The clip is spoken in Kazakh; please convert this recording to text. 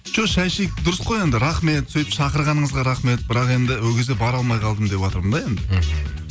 жоқ шай ішейік дұрыс қой енді рахмет сөйтіп шақырғаныңызға рахмет бірақ енді ол кезде бара алмай қалдым деватырмын да енді мхм